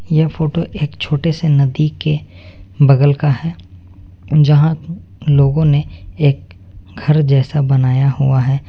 यह फोटो एक छोटे से नदी के बगल का है जहां लोगों ने एक घर जैसा बनाया हुआ है।